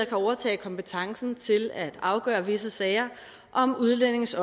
at overtage kompetencen til at afgøre visse sager om udlændinges